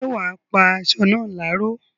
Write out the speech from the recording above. ṣé wà á pá asọ náà láró?